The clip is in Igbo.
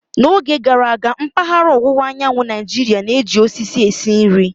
N'oge gara aga, mpaghara ọwụwa anyanwụ Naijiria na-eji osisi esi nri.